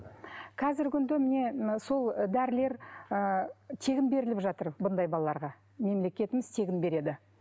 қазіргі күнде міне мына сол дәрілер ы тегін беріліп жатыр бұндай балаларға мемлекетіміз тегін береді